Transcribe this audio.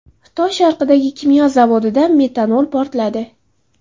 Xitoy sharqidagi kimyo zavodida metanol portladi.